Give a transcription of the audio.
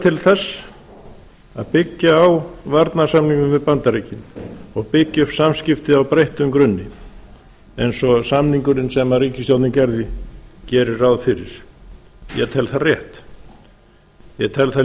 til þess að byggja á varnarsamningnum við bandaríkin og byggja upp samskipti á breyttum grunni eins og samningurinn sem ríkisstjórnin gerði gerir ráð fyrir ég tel það rétt ég tel það